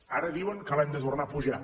ara diuen que l’hem de tornar a apujar